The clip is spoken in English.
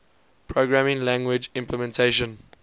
programming language implementation